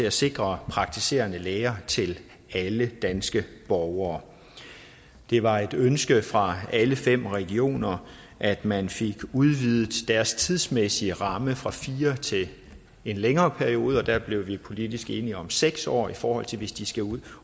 at sikre praktiserende læger til alle danske borgere det var et ønske fra alle fem regioner at man fik udvidet deres tidsmæssige ramme fra fire år til en længere periode og der blev vi politisk enige om seks år i forhold til hvis de skal ud